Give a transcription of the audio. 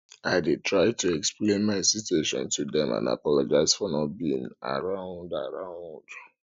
i dey try to explain my situation to dem and apologize for not being around around